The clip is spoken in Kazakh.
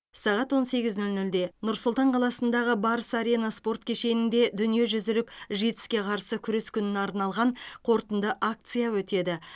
сағат он сегіз нөл нөлде нұр сұлтан қаласындағы барыс арена спорт кешенінде дүниежүзілік житс ке қарсы күрес күніне арналған қорытынды акция өтеді